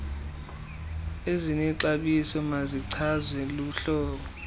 ezinexabiso mazichazwe luhlolo